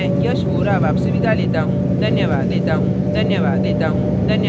यह स्क्रिप्ट प्रभाकर द्वारा अनुवादित है मैं यश वोरा अब आपसे विदा लेता हूँ धन्यवाद